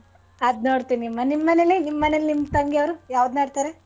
ಅದ್ನೋಡ್ತಿನಿ ಮಾ ನಿಮ್ ಮನೇಲಿ ನಿಮ್ ತಂಗಿ ಅವ್ರು ಯಾವ್ದ್ ನೋಡ್ತಾರೆ?